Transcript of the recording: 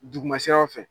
Duguma siraw fɛ